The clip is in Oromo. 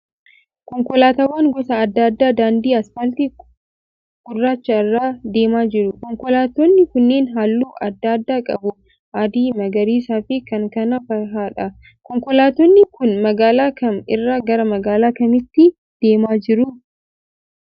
Konkolaataawwan gosa adda addaa daandii 'asfaaltii' gurraacha irra deemaa jiru. Konkolaatoonni kunneen halluu adda adda qabu; adii, magariisa fi kan kana fahaadha. Konkolaatonni kun magaalaa kam irraa gara magaalaa kamiitti deemaa jiru?